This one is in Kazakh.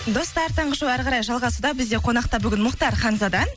достар таңғы шоу әрі қарай жалғасуда бізде қонақта бүгін мұхтар ханзада